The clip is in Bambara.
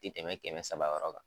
Ti tɛmɛ kɛmɛ saba yɔrɔ kan.